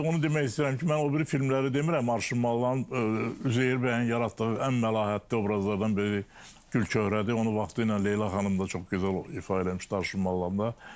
İndi onu demək istəyirəm ki, mən o biri filmləri demirəm Arşın malalıların Üzeyir bəyin yaratdığı ən məlahətli obrazlardan biri Gülçöhrədir, onu vaxtı ilə Leyla xanım da çox gözəl ifadə eləmişdi Arşın malalında.